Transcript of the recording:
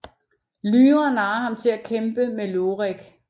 Lyra narrer ham til at kæmpe med Iorek